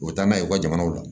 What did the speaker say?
U bɛ taa n'a ye u ka jamanaw la